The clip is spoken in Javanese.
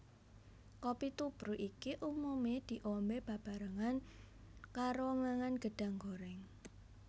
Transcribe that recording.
Kopi tubruk iki umumé diombé bebarengan karo mangan gedhang gorèng